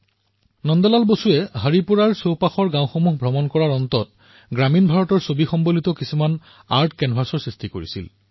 নন্দ লাল বসুৱে হৰিপুৰাৰ নিকটৱৰ্তী গাঁওসমূহ ভ্ৰমণ কৰিছিল আৰু শেষত গ্ৰামীণ ভাৰতৰ জীৱনশৈলী দৰ্শাই কিছু চিত্ৰ কেনভাছ প্ৰস্তুত কৰিছিল